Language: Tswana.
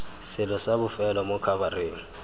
selo sa bofelo mo khabareng